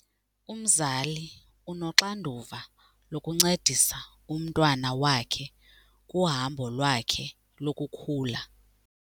Umzali unoxanduva lokuncedisa umntwana wakhe kuhambo lwakhe lokukhula.